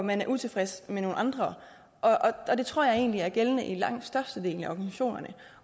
men er utilfreds med nogle andre og det tror jeg egentlig er gældende i langt størstedelen af organisationerne